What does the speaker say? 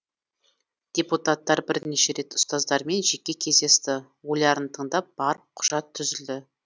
депутаттар бірнеше рет ұстаздармен жеке кездесті ойларын тыңдап барып құжат түзілді